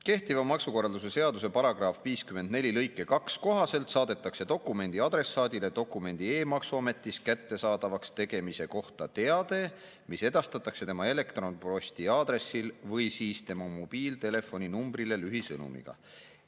Kehtiva maksukorralduse seaduse § 54 lõike 2 kohaselt saadetakse dokumendi adressaadile dokumendi e-maksuametis kättesaadavaks tegemise kohta teade, mis edastatakse tema elektronposti aadressil või siis tema mobiiltelefoninumbrile lühisõnumiga.